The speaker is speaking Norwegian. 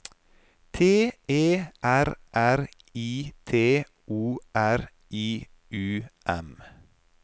T E R R I T O R I U M